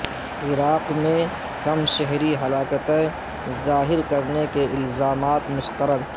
عراق میں کم شہری ہلاکتیں ظاہر کرنے کےالزامات مسترد